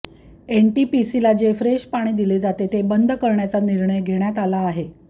एनटिपीसीला जे फ्रेश पाणी दिले जाते ते बंद करण्याचा निर्णय घेण्यात आला आहे